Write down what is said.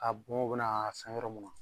K'a bɔn u bɛn'a s yɔrɔ mun na